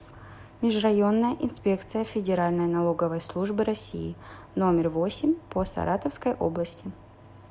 межрайонная инспекция федеральной налоговой службы россии номер восемь по саратовской области